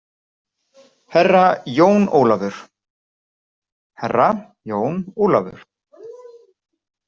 Herra Jón Ólafur, Herra jón Ólafur.